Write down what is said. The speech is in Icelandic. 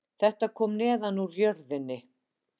Þetta kom neðan úr jörðinni